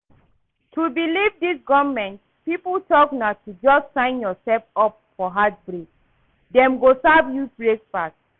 To believe anything dis government people talk na to just sign yourself up for heartbreak. Dem go serve you breakfast.